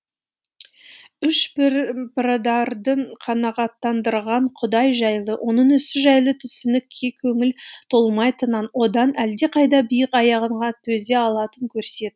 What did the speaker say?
үш пірадардың қанағаттандырған құдай жайлы оның ісі жайлы түсінікке көңілі толмайтынын одан әлдеқайда биік аянға төзе алатынын көрсет